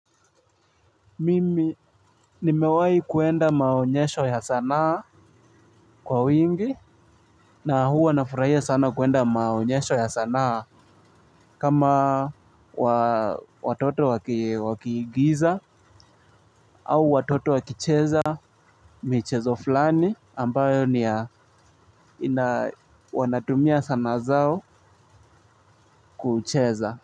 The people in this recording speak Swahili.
Mimi nimewahi kuenda maonyesho ya sanaa kwa wingi na huwa nafurahia sana kwenda maonyesho ya sanaa kama watoto wakiigiza au watoto wakicheza michezo fulani ambayo ni ya wanatumia sanaa zao kucheza.